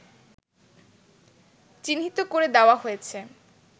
চিহ্নিত করে দেওয়া হয়েছে